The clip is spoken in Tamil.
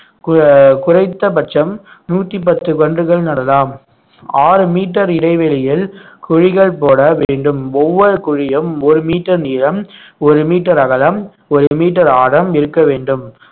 கு~ குறைந்தபட்சம் நூத்தி பத்து கன்றுகள் நடலாம் ஆறு மீட்டர் இடைவெளியில் குழிகள் போட வேண்டும் ஒவ்வொரு குழியும் ஒரு மீட்டர் நீளம் ஒரு மீட்டர் அகலம் ஒரு மீட்டர் ஆழம் இருக்க வேண்டும்